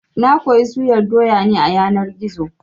Na koyi suyar doya ne a yanar gizo-gizo